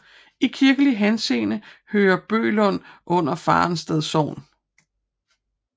I kirkelig henseende hører Bøglund under Farensted Sogn